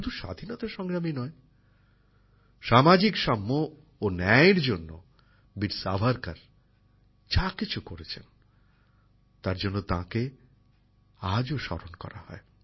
শুধু স্বাধীনতা সংগ্রামই নয় সামাজিক সাম্য ও ন্যায়ের জন্য বীর সাভারকর যা কিছু করেছেন তার জন্য তাকে আজও স্মরণ করা হয়